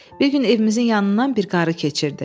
Bir gün evimizin yanından bir qarı keçirdi.